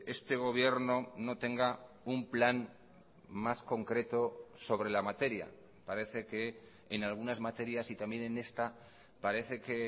este gobierno no tenga un plan más concreto sobre la materia parece que en algunas materias y también en esta parece que